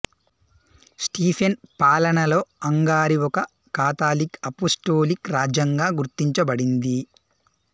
Stephen పాలనలో Hungary ఒక Catholic apostolic రాజ్యంగా గుర్తించబడింది